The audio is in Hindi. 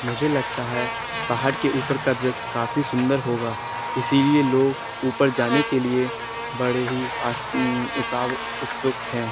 मुझे लगता है पहाड़ के उपर का दृश्य काफी सुंदर होगा इसिलिए लोग उपर जाने के लिए बड़े ही आश्च अं ऊं उताव उत्सूक है।